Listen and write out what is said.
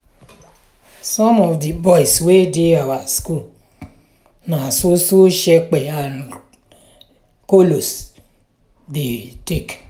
some of di boys wey dey our school na so so shepe and kolos dem dey take.